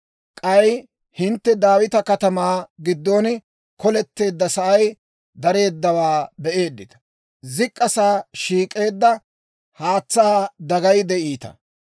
K'ay hintte Daawita Katamaa giddon koletteeddasay dareeddawaa be'eeddita; zik'k'a sa'aa shiik'eedda haatsaa dagayi de'iita.